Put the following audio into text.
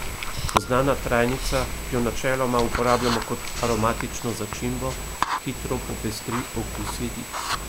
Poznana trajnica, ki jo načeloma uporabljamo kot aromatično začimbo, hitro popestri okus jedi.